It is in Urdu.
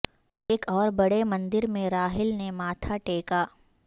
ایک اور بڑے مندر میں راہل نے ماتھا ٹیکا